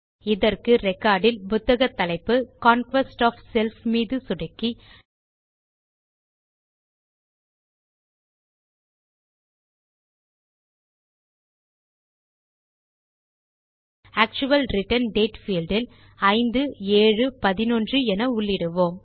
இதற்கு ரெக்கார்ட் இல் புத்தக தலைப்பு கான்க்வெஸ்ட் ஒஃப் செல்ஃப் மீது சொடுக்கி ஆக்சுவல் ரிட்டர்ன் டேட் பீல்ட் இல் 5711 என உள்ளிடுவோம்